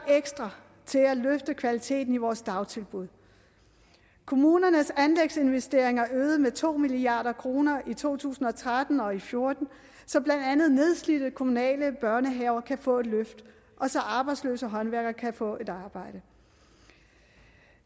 ekstra til at løfte kvaliteten i vores dagtilbud kommunernes anlægsinvesteringer er øget med to milliard kroner i to tusind og tretten og og fjorten så blandt andet nedslidte kommunale børnehaver kan få et løft og så arbejdsløse håndværkere kan få et arbejde